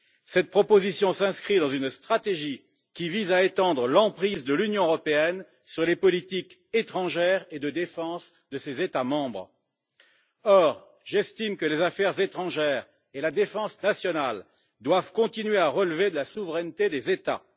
Cette proposition s'inscrit dans une stratégie qui vise à étendre l'emprise de l'Union européenne sur les politiques étrangère et de défense de ses États membres. Or, j'estime que les affaires étrangères et la défense nationale doivent continuer à relever de la souveraineté des États.